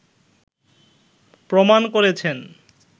প্রমান করেছেন